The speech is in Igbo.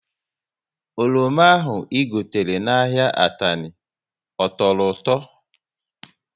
Oroma ahụ I gotere n' ahịa Atani, ọ tọrọ ụtọ?